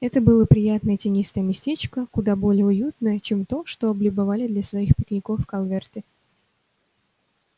это было приятное тенистое местечко куда более уютное чем то что облюбовали для своих пикников калверты